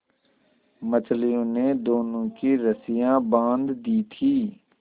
मछलियों ने दोनों की रस्सियाँ बाँध दी थीं